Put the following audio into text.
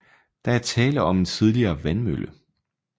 Der er tale om en tidligere vandmølle